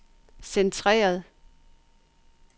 centreret